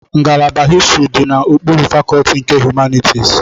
Ngalaba histrị dị n'okpuru fakọlti nke Humanitisi.